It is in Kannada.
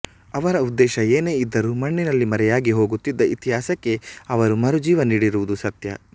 ಅವರ ಉದ್ದೇಶ ಏನೇ ಇದ್ದರೂ ಮಣ್ಣಿನಲ್ಲಿ ಮರೆಯಾಗಿ ಹೋಗುತಿದ್ದ ಇತಿಹಾಸಕ್ಕೆ ಅವರು ಮರು ಜೀವ ನೀಡಿರುವುದು ಸತ್ಯ